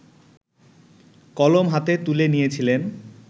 কলম হাতে তুলে নিয়েছিলেন